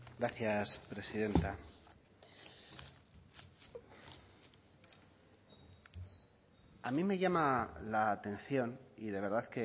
gracias presidenta a mí me llama la atención y de verdad